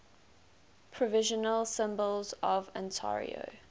provincial symbols of ontario